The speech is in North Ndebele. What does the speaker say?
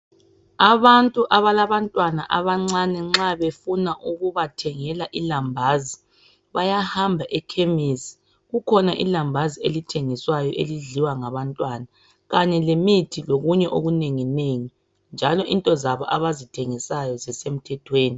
Abantu abalabantwana abancane nxa befuna ukubathengela ilambazi bayahamba ekhemisi kukhona ilambazi elithengiswayo elidliwa ngabantwana kanye lemithi lokunye okunengi nengi njalo into zabo abazithengisayo zisemthethweni